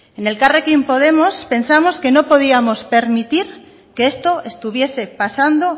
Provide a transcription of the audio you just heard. en elkarrekin podemos pensamos que no podíamos permitir que esto estuviese pasando